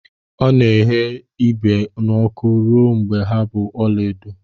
Ọ na-eghe ibe n'ọkụ ruo mgbe ha bụ ọla edo.